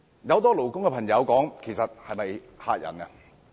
很多勞工界的朋友皆問這是否嚇人。